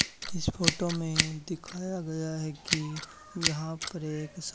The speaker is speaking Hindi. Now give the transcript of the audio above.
इस फोटो में दिखाया गया है कि यहां पर एक सा--